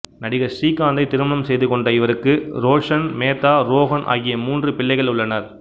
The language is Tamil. நடிகர் ஸ்ரீகாந்தை திருமணம் செய்து கொண்ட இவருக்கு ரோஷன் மேதா ரோஹன் ஆகிய மூன்று பிள்ளைகள் உள்ளனர்